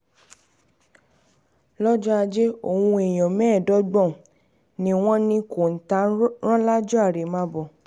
lọ́jọ́ ajé ohun èèyàn mẹ́ẹ̀ẹ́dógún um ni wọ́n ní kọ́ńtà rán lájọ um àrèmábọ̀